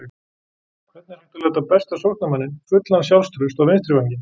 Hvernig er hægt að láta besta sóknarmanninn fullan sjálfstrausts á vinstri vænginn?